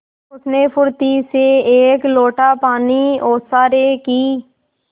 उसने फुर्ती से एक लोटा पानी ओसारे की